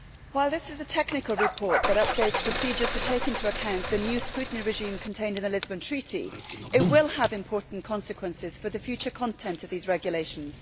Mr President, while this is a technical report which updates procedures to take into account the new scrutiny regime contained in the Lisbon Treaty, it will have important consequences for the future content of these regulations.